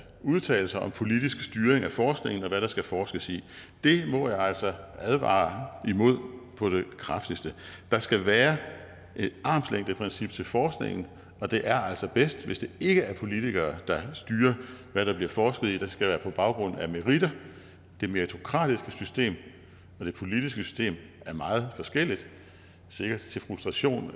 udtale sig om politisk styring af forskningen og hvad der skal forskes i det må jeg altså advare imod på det kraftigste der skal være et armslængdeprincip til forskningen og det er altså bedst hvis det ikke er politikere der styrer hvad der bliver forsket i det skal være på baggrund af meritter det meritokratiske system og det politiske system er meget forskelligt sikkert til frustration